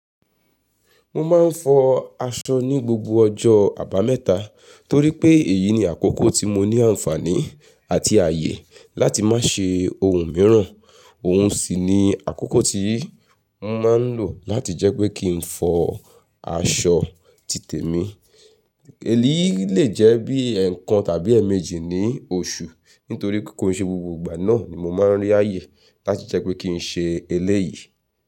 Mo máa ń fọ aṣọ ní gbogbo ọjọ́ àbámẹ́ta torí pé èyí ni àkókò tí mo ní àǹfààní àti ààyè láti má ṣe ohun mìíràn. Ohun sì ni àkókò tí mo máa ń lò láti jẹ́ pé kí n fọ aṣọ títè mi. Èyí le jẹ́ bí i ẹ̀ẹ̀kan tàbí èèmejì ní oṣù nítorí kí n ṣe gbogbo ìgbà náà ni mo máa ń rí ààyè láti jẹ́ pé kí n ṣe eléyìí.